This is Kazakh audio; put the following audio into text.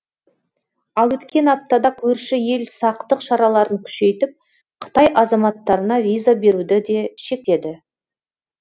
ал өткен аптада көрші ел сақтық шараларын күшейтіп қытай азаматтарына виза беруді де шектеді